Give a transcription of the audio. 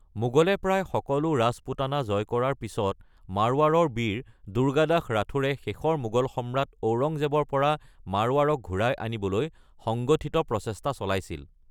মোগলে প্ৰায় সকলো ৰাজপুতানা জয় কৰাৰ পিছত মাৰৱাৰৰ বীৰ দুৰ্গাদাস ৰাথোৰে শেষৰ মোগল সম্ৰাট ঔৰংজেবৰ পৰা মাৰৱাৰক ঘূৰাই আনিবলৈ সংগঠিত প্ৰচেষ্টা চলাইছিল।